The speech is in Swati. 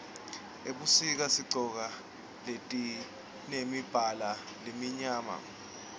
ebusika sigcoka letimemibala lemimyama